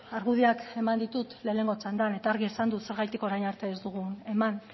argudioak eman ditut lehenengo txandan eta argi esan dut zergatik orain arte ez dugun eman